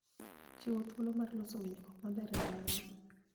Chiwo thuolo mar loso winjruok maber e ohala.